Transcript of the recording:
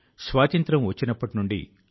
సహచరులారా ఇది జనశక్తి యొక్క బలం